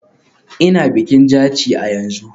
Ina bikin Jaci a yanzu.